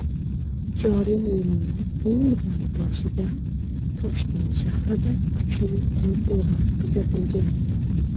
joriy yilning iyun oyi boshida Toshkent shahrida kuchli qum bo‘roni kuzatilgandi.